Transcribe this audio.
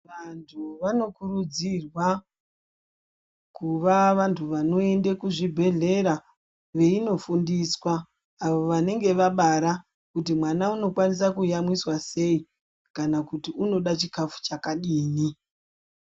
Vantu vanokurudzirwa kuva vantu vanoende kuzvibhedhlera veindofundiswa ava vanenge vabara kuti mwana unokwanise kuyamwiswa sei kana kuti unoda chikafu chakadii.